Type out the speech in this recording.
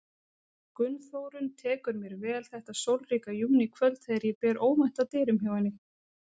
Gunnþórunn tekur mér vel þetta sólríka júníkvöld þegar ég ber óvænt að dyrum hjá henni.